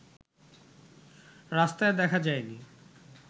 রাস্তায় দেখা যায়নি